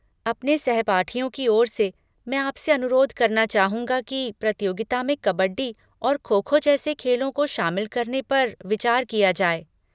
अपने सहपाठियों की ओर से, मैं आपसे अनुरोध करना चाहूंगा कि प्रतियोगिता में कबड्डी और खो खो जैसे खेलों को शामिल करने पर विचार किया जाए।